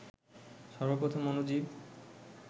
সর্ব প্রথম অণুজীব